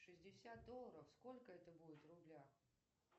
шестьдесят долларов сколько это будет в рублях